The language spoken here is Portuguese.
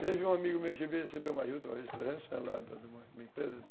Teve um amigo meu que veio receber uma juta, um restaurante,